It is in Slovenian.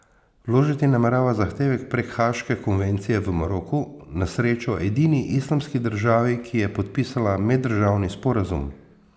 Vložiti namerava zahtevek prek Haaške konvencije v Maroku, na srečo edini islamski državi, ki je podpisala meddržavni sporazum.